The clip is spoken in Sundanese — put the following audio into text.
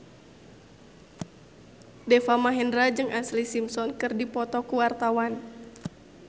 Deva Mahendra jeung Ashlee Simpson keur dipoto ku wartawan